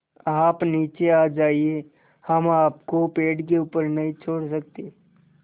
आप नीचे आ जाइये हम आपको पेड़ के ऊपर नहीं छोड़ सकते